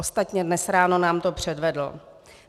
Ostatně dnes ráno nám to předvedl.